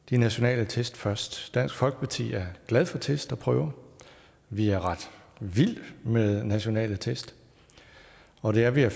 de nationale test først dansk folkeparti er glad for test og prøver vi er ret vilde med nationale test og det er vi af